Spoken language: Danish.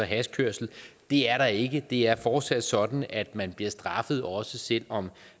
hashkørsel det er der ikke det er fortsat sådan at man bliver straffet også selv om